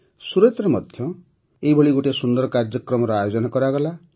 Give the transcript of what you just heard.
ସୁରତରେ ମଧ୍ୟ ଏହିଭଳି ଗୋଟିଏ ସୁନ୍ଦର କାର୍ଯ୍ୟକ୍ରମର ଆୟୋଜନ କରାଗଲା